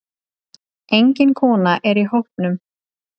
Engin kona er í hópnum.